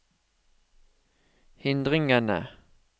hindringene